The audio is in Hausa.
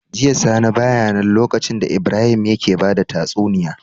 Jiya sani baya nan lokacin da Ibrahim yake bada tatsuniya